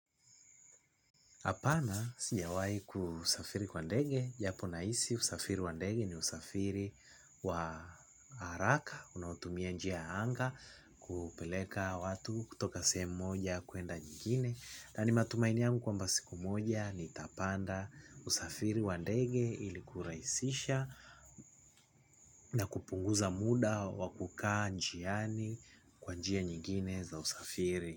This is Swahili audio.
Hapana sijawahi kusafiri kwa ndege japo nahisi usafiri wa ndege ni usafiri wa haraka unaopeleka watu kutoka sehemu moja kwenda nyingine na ni matumaini yangu kwamba siku moja, nitapanda usafiri wa ndege ili kurahisisha na kupunguza muda wakukaa njiani kwa njia nyingine za usafiri.